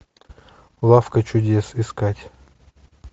лавка чудес искать